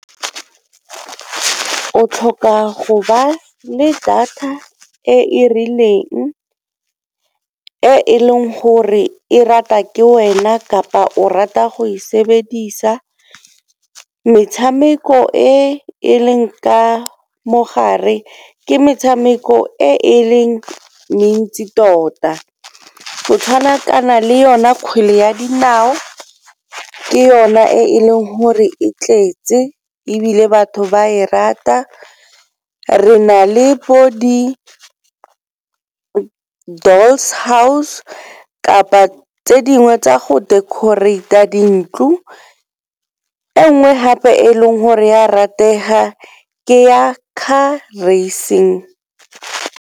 O tlhoka go ba le data e e rileng, e e leng gore e rata ke wena kapa o rata go e sebedisa. Metshameko e e leng ka mogare ke metshameko e e leng mentsi tota, go tshwana kana le yona kgwele ya dinao ke yona e leng gore e tletse ebile batho ba e rata. Re na le bo house kapa tse dingwe tsa go decorate-a dintlo, e nngwe gape e leng gore ya ratega ke ya car racing.